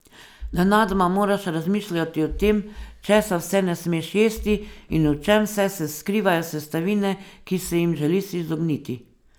Nenadoma moraš razmišljati o tem, česa vse ne smeš jesti in v čem vse se skrivajo sestavine, ki se jim želiš izogniti.